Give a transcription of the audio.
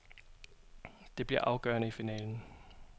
Det bliver afgørende i finalen.